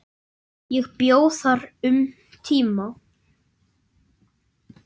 Ég bjó þar um tíma.